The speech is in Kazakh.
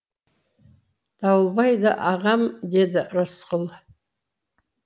дауылбай да ағам деді рысқұл